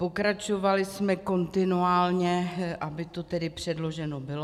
Pokračovali jsme kontinuálně, aby to tedy předloženo bylo.